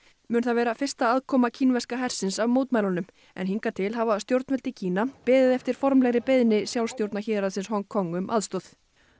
mun það vera í fyrsta aðkoma kínverska hersins af mótmælunum hingað en hingað til hafa stjórnvöld í Kína beðið eftir formlegri beiðni sjálfstjórnarhérðsins Hong Kong um aðstoð